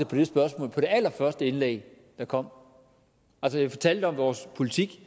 på det spørgsmål på det allerførste indlæg der kom altså jeg fortalte om vores politik